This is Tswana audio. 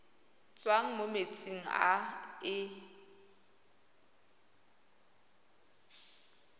tswang mo metsing a e